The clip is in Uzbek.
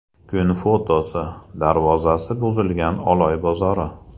Kun fotosi: Darvozasi buzilgan Oloy bozori.